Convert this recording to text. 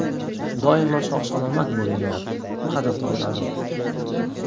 Doimo sog‘-omon bo‘linglar, qadrdonlarim!”